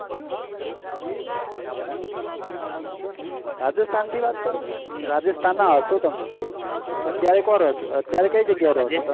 rajasthan થી વાત કરો તમે Rajasthan ના હસો તમે અત્યારે કો રો છો અત્યારે કઈ જગ્યા એ રો તમે